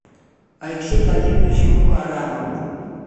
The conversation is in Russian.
алексей владимирович мукарамов